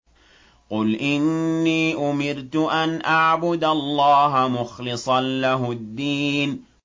قُلْ إِنِّي أُمِرْتُ أَنْ أَعْبُدَ اللَّهَ مُخْلِصًا لَّهُ الدِّينَ